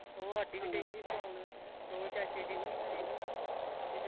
ਉਹ ਹੀ ਸੋ ਗਿਆ ਹੋਰ ਚਾਚੇ ਜੀ ਵਾਰੀ ਆਏ ਸੀ ਨਾਂ।